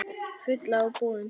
Fulla af boðum.